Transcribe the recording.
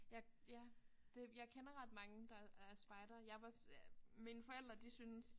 Ja ja det jeg kender ret mange der er spejdere jeg var mine forældre de synes